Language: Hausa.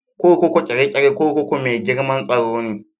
Kurkukun Kirikiri kurkuku mai girmar tsaro ne.